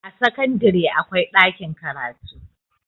a sakandare akwai ɗakin karatu